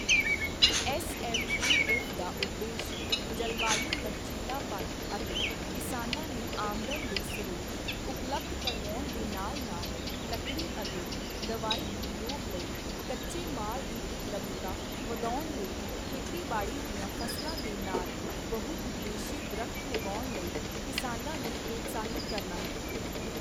S M A F ਦਾ ਉਦੇਸ਼ ਜਲਵਾਯੂ ਲਕਚੀਲਾਪਨ ਅਤੇ ਕਿਸਾਨਾਂ ਨੂੰ ਆਮਦਨ ਦੇ ਸਰੋਤ ਉਪਲੱਬਧ ਕਰਵਾਉਣ ਦੇ ਨਾਲ ਨਾਲ ਲੱਕੜੀ ਅਤੇ ਦਵਾਈ ਉਦਯੋਗ ਲਈ ਕੱਚੇ ਮਾਲ ਦੀ ਉਪਲੱਬਧਤਾ ਵਧਾਉਣ ਲਈ ਖੇਤੀਬਾੜੀ ਦੀਆਂ ਫ਼ਸਲਾਂ ਦੇ ਨਾਲ ਬਹੁ-ਉਦੇਸ਼ੀ ਦਰਖਤ ਲਗਾਉਣ ਲਈ ਕਿਸਾਨਾਂ ਨੂੰ ਪ੍ਰੋਤਸਾਹਿਤ ਕਰਨਾ ਹੈ।